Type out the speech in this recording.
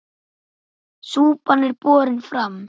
Súpan er borin fram.